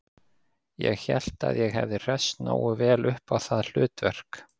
Ég hélt að ég hefði hresst nógu vel upp á það hlutverk